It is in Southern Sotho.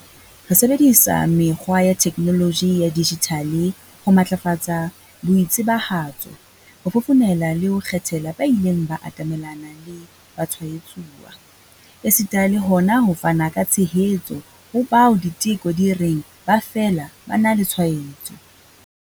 Re sebedisa mekgwa ya theknoloji ya dijithale ho matlafatsa boitsebahatso, ho fofonela le ho kgethela ba ileng ba atamelana le batshwaetsuwa, esita le hona ho fana ka tshehetso ho bao diteko di reng ba fela ba na le tshwaetso.